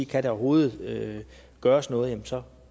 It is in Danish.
kan der overhovedet gøres noget så